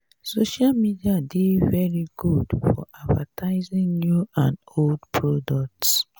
social medis dey very good for advertising new and old products